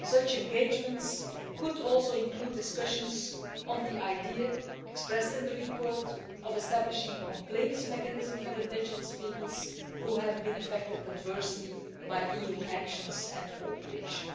Such engagement could include discussions on the idea expressed in the report of establishing a complaints mechanism for indigenous peoples who have been affected adversely by EU action and cooperation.